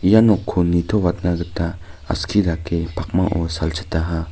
ia nokko nitoatna gita aski dake pakmao salchitaha.